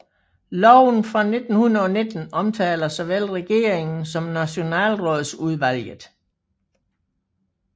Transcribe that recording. Loven fra 1919 omtaler såvel regeringen som Nationalrådsudvalget